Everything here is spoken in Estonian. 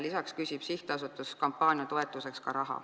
Lisaks küsib sihtasutus kampaania toetuseks raha.